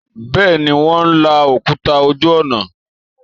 Bẹ́ẹ̀ ni, Wọ́n ń la òkúta ojú ọ̀nà